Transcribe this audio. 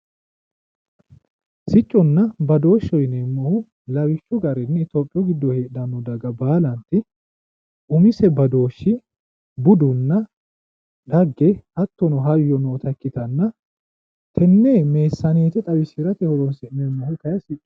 sicconna badooshsheho yineemmohu lawishshu garinni itophiyu giddo heedhanno daga baalanti umise badooshshi budunna dhagge hattono hayyo noota ikkitanna teenne meessaneete xawisirate horonsi'neemmo.